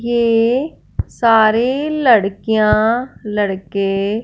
ये सारे लड़कियां लड़के--